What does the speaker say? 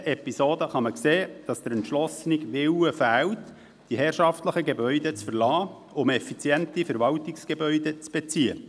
An dieser Episode kann man sehen, dass der entschlossene Willen fehlt, die herrschaftlichen Gebäude zu verlassen, um effiziente Verwaltungsgebäude zu beziehen.